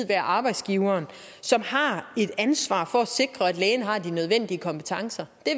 være arbejdsgiveren som har et ansvar for at sikre at lægen har de nødvendige kompetencer det